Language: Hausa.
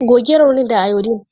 Goge raunin da Iodine!